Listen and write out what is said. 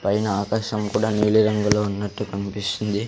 పైన ఆకాశం కూడా నీలిరంగులో ఉన్నట్టు కనిపిస్తుంది.